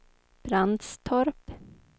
Brandstorp